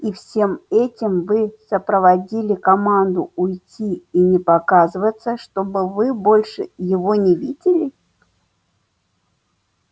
и всем этим вы сопроводили команду уйти и не показываться чтобы вы больше его не видели